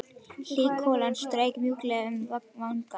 Hlý golan strauk mjúklega um vangana.